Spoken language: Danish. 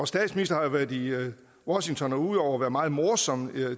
statsministeren har været i washington og ud over været meget morsom